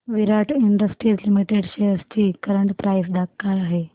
विराट industries limited shares ची current price काय आहे